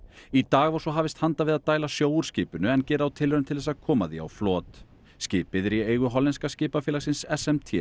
í dag var svo hafist handa við að dæla sjó úr skipinu en gera á tilraun til þess að koma því á flot skipið er í eigu skipafélagsins s m t